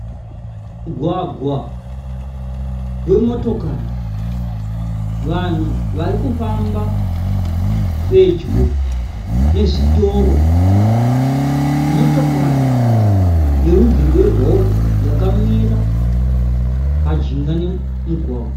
Mugwagwa wemotokari. Vanhu varikufamba pedyo nezvitoro. Motokari yerudzi yerori yakamira pamujinga pemugwagwa.